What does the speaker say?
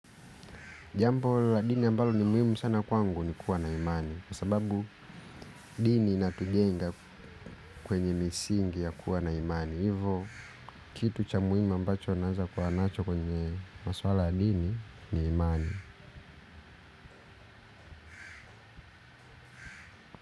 Jambo la dini ambalo ni muhimu sana kwangu ni kuwa na imani kwa sababu dini inatujenga kwenye misingi ya kuwa na imani. Hivo kitu cha muhimu ambacho naeza kwa nacho kwenye maswala la dini ni imani.